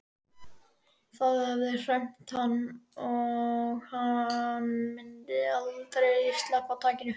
Það hafði hremmt hann og myndi aldrei sleppa takinu.